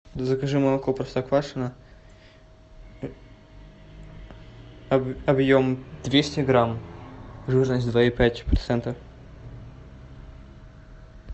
закажи молоко простоквашино объем двести грамм жирность два и пять процента